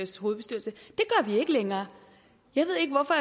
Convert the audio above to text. længere jeg ved ikke hvorfor